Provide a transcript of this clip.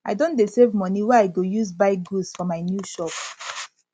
i don dey save moni wey i go use buy goods for my new shop